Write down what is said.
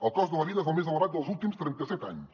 el cost de la vida és el més elevat dels últims trenta set anys